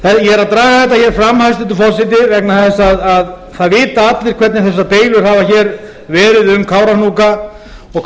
ég er að draga þetta hér fram hæstvirtur forseti vegna þess að það vita allir hvernig þessar deilur hafa hér verið um kárahnjúka og